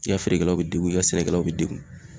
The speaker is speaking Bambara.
I ka feerekɛlaw be degun i ka sɛnɛkɛlaw be degun